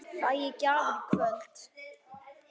Fæ ég gjafir í kvöld?